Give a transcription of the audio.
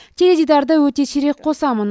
теледидарды өте сирек қосамын